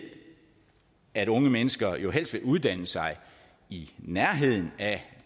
at unge mennesker jo helst vil uddanne sig i nærheden af